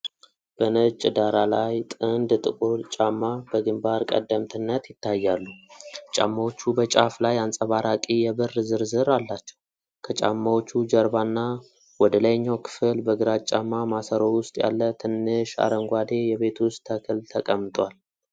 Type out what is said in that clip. በነጭ ዳራ ላይ ጥንድ ጥቁር ጫማ በግንባር ቀደምትነት ይታያሉ። ጫማዎቹ በጫፍ ላይ አንጸባራቂ የብር ዝርዝር አላቸው። ከጫማዎቹ ጀርባና ወደ ላይኛው ክፍል፣ በግራጫማ ማሰሮ ውስጥ ያለ ትንሽ አረንጓዴ የቤት ውስጥ ተክል ተቀምጧል።